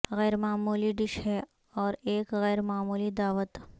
غیر معمولی ڈش ہے اور ایک غیر معمولی دعوت